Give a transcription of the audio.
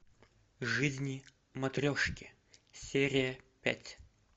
жизни матрешки серия пять